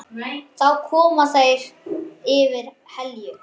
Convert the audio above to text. Þá koma þeir yfir Helju.